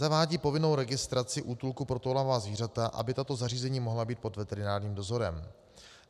Zavádí povinnost registraci útulků pro toulavá zvířata, aby tato zařízení mohla být pod veterinárním dozorem.